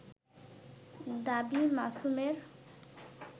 দাবী মাসুমের